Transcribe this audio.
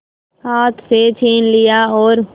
हाथ से छीन लिया और